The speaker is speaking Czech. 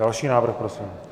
Další návrh prosím.